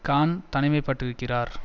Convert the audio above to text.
Khan தனிமைப்படுத்தப்பட்டிருக்கிறார்